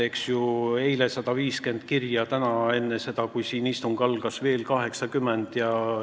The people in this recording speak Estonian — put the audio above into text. Eile tuli 150 kirja ja täna tuli veel 80 enne seda, kui siin istung algas.